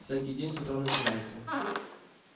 всякий день с утра начинается